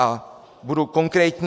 A budu konkrétní.